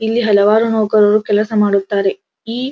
ಇಲ್ಲಿ ಹಲವಾರು ನೌಕರರು ಕೆಲಸ ಮಾಡುತ್ತಾರೆ ಈ --